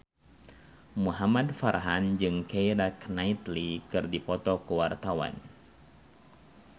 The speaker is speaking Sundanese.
Muhamad Farhan jeung Keira Knightley keur dipoto ku wartawan